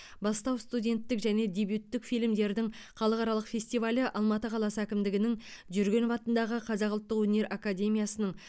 бастау студенттік және дебюттік фильмдердің халықаралық фестивалі алматы қаласы әкімдігінің жүргенов атындағы қазақ ұлттық өнер академиясының